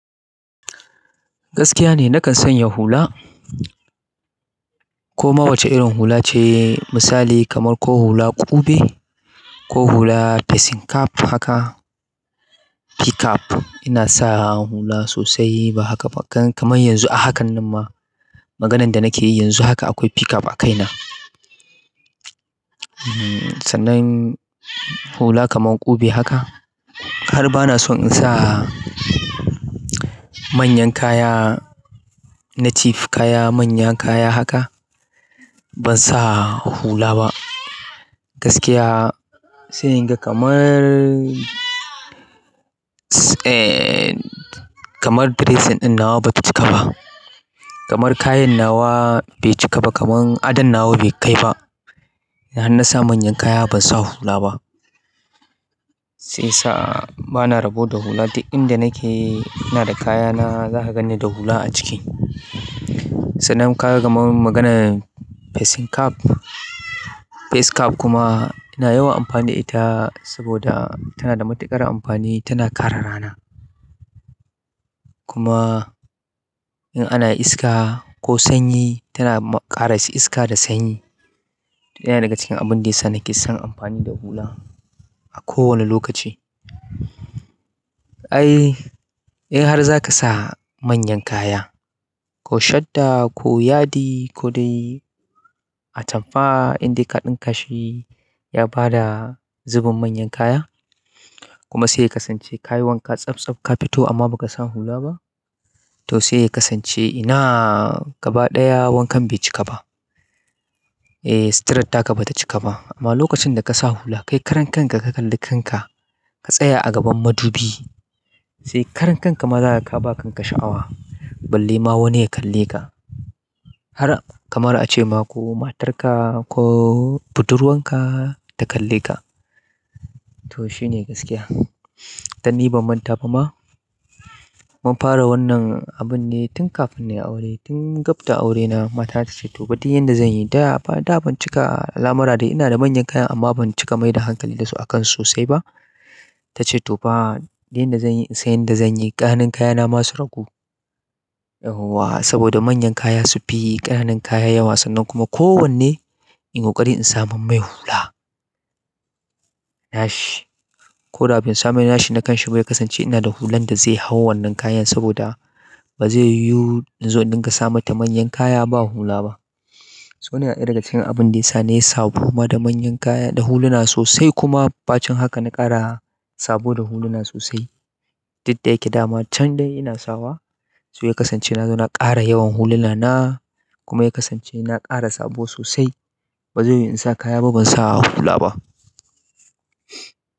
Gaskiya ne nakan sanya hula. Ko ma wace irin hula ce misali kamar ko hula ƙube, ko hula facing cap haka p cap. Ina sa hula sosai ba haka kamar yanzu a hakan nan ma maganan da nake yi yanzu haka akwai p cap a kaina. Sanan hula kamar ƙube haka har ba na so in sa manyan kaya, native kaya, manyan kaya haka ban sa hula ba. Gaskiya sai in ga kamar eh kamar dressing ɗin nawa bata cika ba. Kamar kayan nawa bai cika ba, kamar adon nawa bai kai ba. Ina hana sa manyan kaya ban sa hula ba, sai yasa bana rabo da hula duk inda nake ina da kaya na za ka gani da hula a ciki. Sanan ka gama maganan facing cap, face cap kuma yana yawan amfani da ita saboda tana da matuƙar amfani tana kare rana. Kuma in ana iska ko sanyi tana ƙara shi iska da sanyi. To yana daga cikin abin da yana kesan amfani da hula a kowane lokaci. Ai, in har za ka sa manyan kaya ko shadda ko yadi ko dai atamfa inda kaɗin ka shi ya ba da zubin manyan kaya kuma sai ka san ce ka yi wanka tsabtsab ka fito amma ba ka sa hula ba to sai ka san ce ina gaba ɗaya wankan bai cika ba. Eh, sutratta ka bata cika ba amma lokacin da ka sa hula kai karen kanka ka kalli kanka ka tsaya a gaban madubi sai karen kanka maza ka ba kanka sha'awa balle ma wani ya kalle ka. Har kamar a ce ma ko matarka ko budurwarka ta kalle ka. To shi ne gaskiya. Danni ban manta ba ma mun fara wannan abun ne tun kafin ni aure tun gab da aurena matar ta ce to ba duk inda zan yi da ba da ban cika alamar da ina da manyan kaya amma ban cika mai da hankali da su a kan sosai ba. Ta ce to fa duk inda zan yi in sai inda zan yi ƙananan kayana masu ragu. Yauwa saboda manyan kaya su fi ƙananan kaya yawa sannan kuma kowanne in ƙoƙari in saman mai hula. Nashi ko da abin samu nashi na kanshi bai kasance ina da hulan da zai hau wannan kayan saboda ba zai yiwu in zo in gasa mata manyan kaya ba hula ba. Su wane ɗaya daga cikin abin da yana yi sabo kuma da manyan kaya da huluna sosai kuma ɓacin haka na ƙara sabo da huluna sosai. Diddai yake dama can dai ina sawa su ya kasance na zo na ƙara yawan huluna na kuma ya kasance na ƙara sabo sosai. Ba zai yiwu in sa kaya ba ban sa hula ba.